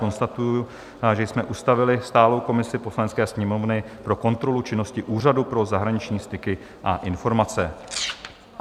Konstatuji, že jsme ustavili stálou komisi Poslanecké sněmovny pro kontrolu činnosti Úřadu pro zahraniční styky a informace.